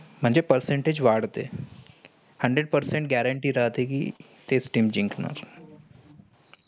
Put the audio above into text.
म्हणजे percentage वाढतेय. hundred percent guarantee राहते कि तेच team जिंकणारं.